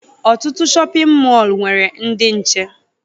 Ọtụtụ shọpịn mọọ nwere ndị nche